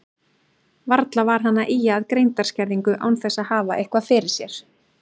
Varla var hann að ýja að greindarskerðingu án þess að hafa eitthvað fyrir sér.